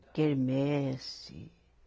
Quermesse